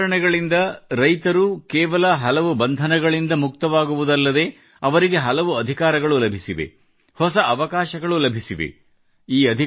ಈ ಸುಧಾರಣೆಗಳಿಂದ ಕೇವಲ ರೈತರ ಹಲವು ಬಂಧನಗಳಿಂದ ಮುಕ್ತವಾಗುವುದಲ್ಲದೆ ಅವರಿಗೆ ಹಲವು ಅಧಿಕಾರಗಳು ಲಭಿಸಿವೆ ಹೊಸ ಅವಕಾಶಗಳು ಲಭಿಸಿವೆ